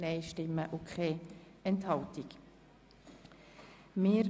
Wir kommen zu Traktandum 22.